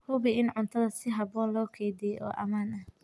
Hubi in cuntada si habboon loo kaydiyay oo ammaan ah.